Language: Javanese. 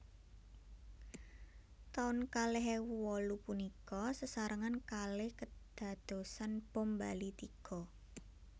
Taun kalih ewu wolu punika sesarengan kalih kedadosan bom Bali tiga